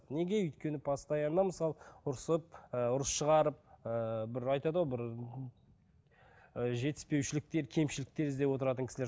неге өйткені постоянно мысалы ұрсып ы ұрыс шығарып ыыы бір айтады ғой бір ы жетіспеушіліктер кемшіліктер іздеп отыратын кісілер